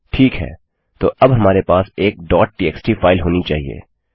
ठीक है तो अब हमारे पास एक txt फाइल होनी चाहिए